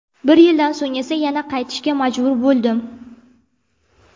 Bir yildan so‘ng esa yana qaytishga majbur bo‘ldim.